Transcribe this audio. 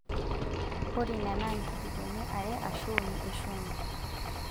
Ore ina naa nkijikoni are aashu uni e shumbi.